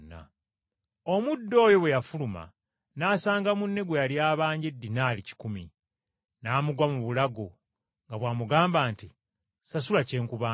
“Omuddu oyo bwe yafuluma n’asanga munne gwe yali abanja eddinaali kikumi, n’amugwa mu bulago nga bw’amugamba nti, ‘Ssasula kye nkubanja.’